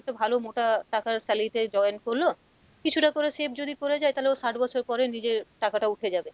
একটা ভালো মোটা টাকার salary তে join করলো কিছুটা করে save যদি করে যায় তালে ও ষাট বছর পরে নিজের টাকাটা উঠে যাবে,